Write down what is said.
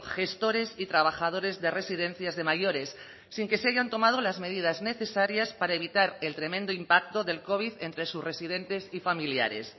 gestores y trabajadores de residencias de mayores sin que se hayan tomado las medidas necesarias para evitar el tremendo impacto de covid entre sus residentes y familiares